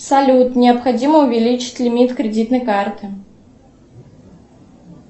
салют необходимо увеличить лимит кредитной карты